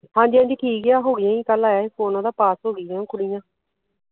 ਹਾਂਜੀ ਹਾਂਜੀ ਠੀਕ ਆ ਉਹ ਹੋਗੀਆਂ ਹੀ ਕਲ ਆਇਆ ਸੀ ਫੋਨ ਓਹਨਾ ਦਾ ਪਾਸ ਹੋਗੀਆ ਵਾ ਕੁੜੀਆਂ।